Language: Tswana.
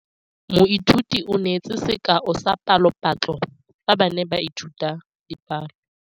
Moithuti o neetse sekaô sa palophatlo fa ba ne ba ithuta dipalo.